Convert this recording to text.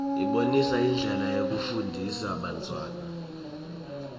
ibonisa indlela yekufundzisa bantfwana